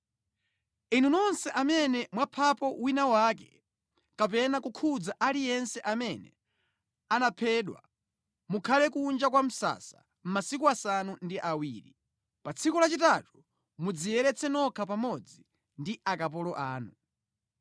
“Inu nonse amene mwaphapo wina wake, kapena kukhudza aliyense amene anaphedwa mukhale kunja kwa msasa masiku asanu ndi awiri. Pa tsiku lachitatu mudziyeretse nokha pamodzi ndi akapolo anu.